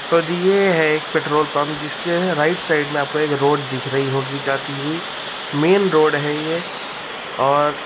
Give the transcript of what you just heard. तो जी ये है एक पेट्रोल पम्प जिसके राइट साइड मे आपको एक रोड दिख रही होगी जाती हुई। मेन रोड है ये और --